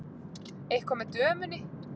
Eitthvað með dömunni.